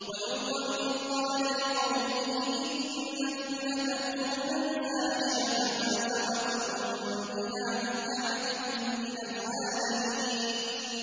وَلُوطًا إِذْ قَالَ لِقَوْمِهِ إِنَّكُمْ لَتَأْتُونَ الْفَاحِشَةَ مَا سَبَقَكُم بِهَا مِنْ أَحَدٍ مِّنَ الْعَالَمِينَ